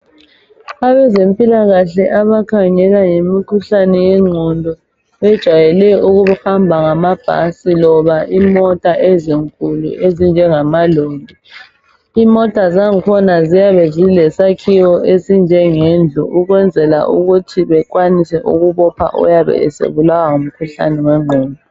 Abezempilakahle abakhangela ngezimkhuhlane yengqondo bajayele ukuhamba ngamabhasi loba imota ezinkulu ezinjengamaloli . Imota zangkhona ziyabe zilesakhiwo esinjengendlu, ukwenzela ukuthi bekwanise ukubopha oyabe esebulawa ngumkhuhlane wengqondo.